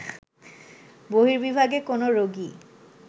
বহির্বিভাগে কোনো রোগী